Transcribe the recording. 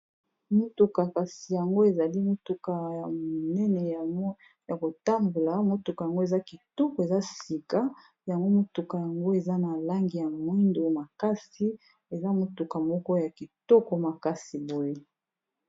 Motuka kasi yango ezali motuka ya monene ya kotambola motuka yango eza kitoko eza sika yango motuka yango eza na langi ya moyindo makasi eza motuka moko ya kitoko makasi boye.